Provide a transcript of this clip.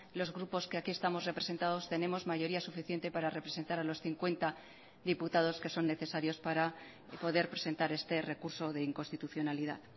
los grupos que aquí estamos representados tenemos mayoría suficiente para representar a los cincuenta diputados que son necesarios para poder presentar este recurso de inconstitucionalidad